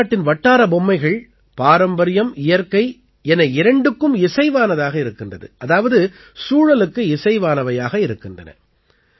பாரத நாட்டின் வட்டார பொம்மைகள் பாரம்பரியம் இயற்கை என இரண்டுக்கும் இசைவானதாக இருக்கின்றது அதாவது சூழலுக்கு இசைவானவையாக இருக்கின்றன